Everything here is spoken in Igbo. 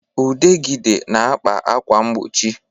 Udegịde na-akpa ákwà mgbochi